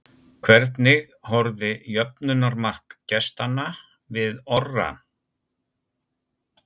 Hvernig horfði jöfnunarmark gestanna við Orra?